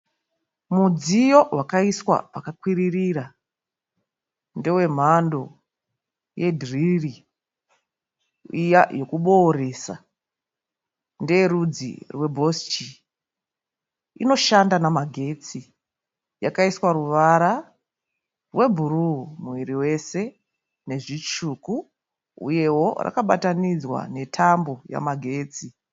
Mudziyo wakaiswa pakakwiririra ndewe mhando ye dhiriri iya yekubooresa. Ndeye rudzi rwe Bosch, inoshanda namagetsi. Yakaiswa ruvara rwe bhuruu muviri wese nezvitsvuku uyewo rakabatanidzwa netambo yamagetsi.